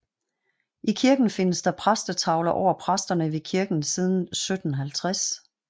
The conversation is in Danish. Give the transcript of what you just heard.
I kirken findes der præstetavler over præsterne ved kirken siden 1750